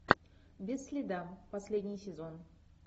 без следа последний сезон